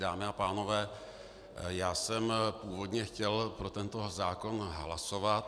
Dámy a pánové, já jsem původně chtěl pro tento zákon hlasovat.